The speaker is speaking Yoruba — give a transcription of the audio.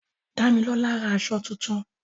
Dámilọ́lá ra aṣọ tuntun